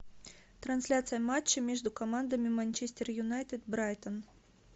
трансляция матча между командами манчестер юнайтед брайтон